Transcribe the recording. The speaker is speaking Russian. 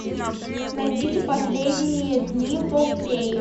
найдите последние дни помпеи